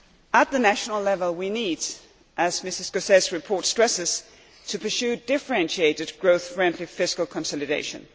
At national level we need, as Mr Gauzès's report stresses, to pursue differentiated growth friendly fiscal consolidation.